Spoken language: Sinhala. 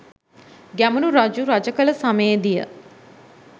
ගැමුණු රජු රජ කළ සමයෙහිදීය.